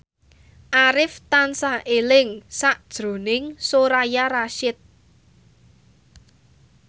Arif tansah eling sakjroning Soraya Rasyid